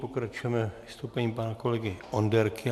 Pokračujeme vystoupením pana kolegy Onderky.